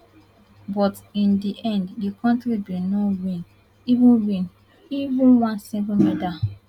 but in di end di kontri bin no win even win even one single medal